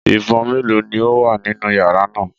Ìbọn méèló ni ó wà nínú yàrá náà?